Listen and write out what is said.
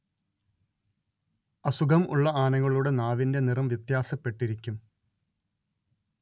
അസുഖം ഉള്ള ആനകളുടെ നാവിന്റെ നിറം വ്യത്യാസപ്പെട്ടിരിക്കും